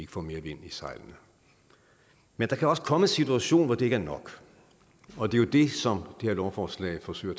får mere vind i sejlene men der kan også komme en situation hvor det ikke nok og det er jo det som det her lovforslag forsøger